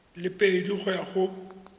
le pedi go ya go